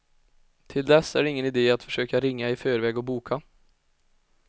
Till dess är det ingen idé att försöka ringa i förväg och boka.